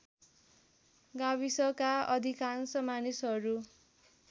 गाविसका अधिकांश मानिसहरू